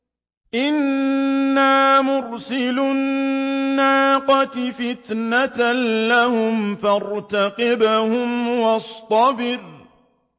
إِنَّا مُرْسِلُو النَّاقَةِ فِتْنَةً لَّهُمْ فَارْتَقِبْهُمْ وَاصْطَبِرْ